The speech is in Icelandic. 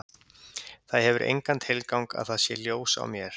Það hefur engan tilgang að það sé ljós á mér.